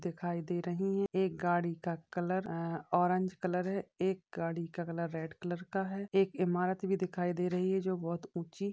दिखाई दे रही है | एक गाडी का कलर ऑरेंज कलर एक गाडी का कलर रेड कलर का है । एक इमारत भी दिखाई दे रही है जो बहोत ऊची --